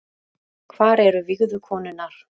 Hvar eru vígðu konurnar